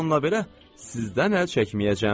Bununla belə, sizdən əl çəkməyəcəyəm.